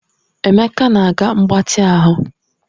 Emeka na-aga mgbatị ahụ